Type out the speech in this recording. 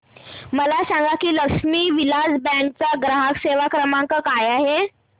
मला सांगा की लक्ष्मी विलास बँक चा ग्राहक सेवा क्रमांक काय आहे